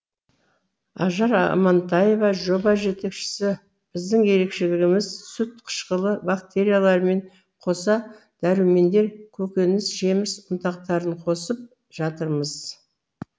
ажар амантаева жоба жетекшісі біздің ерекшелігіміз сүт қышқылы бактерияларымен қоса дәрумендер көкөніс жеміс ұнтақтарын қосып жатырмыз